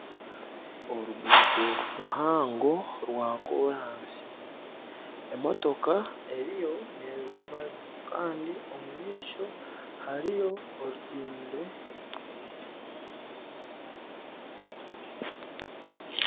Oruguuto ruhango rwa koransi, emotoka eriyo nerabamu Kandi omu maisho hariyo orutindo.